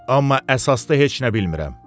Amma əsasda heç nə bilmirəm.